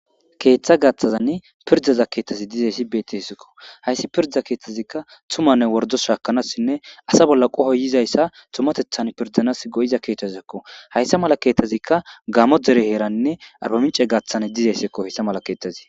Keeththa gaathazani pirddaza keethazi dizayssi beeteskko. Hayssi pirda keeththazikka ytumanne worddo shaakanasine asa bolli qohoy yizayssa tumatethan prdanaasi go'iza keethazakko. hayssa mala keethazikka gaamo dere heeranne arbamincce heeran dizayssakko hessa mala keeththazi.